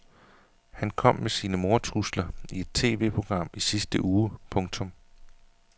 Han kom med sine mordtrusler i et TVprogram i sidste uge. punktum